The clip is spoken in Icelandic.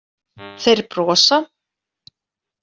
Þeir brosa.